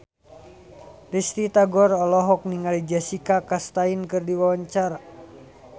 Risty Tagor olohok ningali Jessica Chastain keur diwawancara